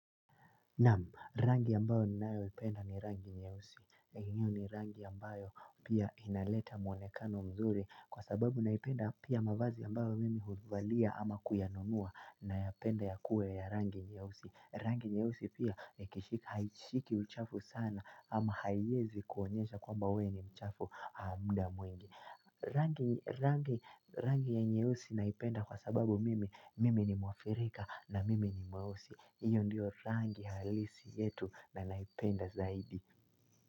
Naam, rangi ambayo nayoipenda ni rangi nyeusi. Hiyo ni rangi ambayo pia inaleta mwonekano mzuri kwa sababu naipenda pia mavazi ambayo mimi huvalia ama kuyanunua nayapenda ya kuwe ya rangi nyeusi. Rangi nyeusi pia haishiki uchafu sana ama haiwezi kuonyesha kwamba we ni mchafu muda mwingi. Rangi ya nyeusi naipenda kwa sababu mimi ni mwafrika na mimi ni mweusi. Iyo ndio rangi halisi yetu na naipenda zaidi.